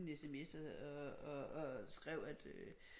En sms og skrev at øh